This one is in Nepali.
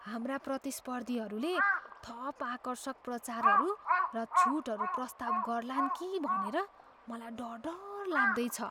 हाम्रा प्रतिस्पर्धीहरूले थप आकर्षक प्रचारहरू र छुटहरू प्रस्ताव गर्लान् कि भनेर मलाई डर डर लाग्दै छ।